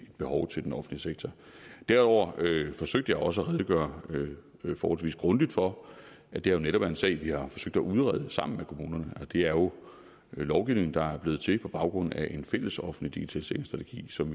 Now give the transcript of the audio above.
behov til den offentlige sektor derudover forsøgte jeg også at redegøre forholdsvis grundigt for at det netop er en sag vi har forsøgt at udrede sammen med kommunerne og det er jo lovgivning der er blevet til på baggrund af en fælles offentlig digitaliseringsstrategi som